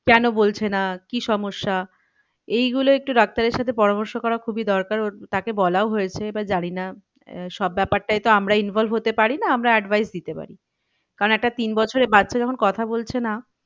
কেন বলছে না কি সমস্যা এই গুলো একটু ডাক্তারের সাথে পরামর্শ করা খুবই দরকার ওর তাকে বলাও হয়েছে এবার জানি না আহ সব ব্যাপারটায় তো আমরা involve হতে পারি না আমরা advice দিতে পারি কারণ একটা তিন বছরের বাচ্চা যখন কথা বলছে না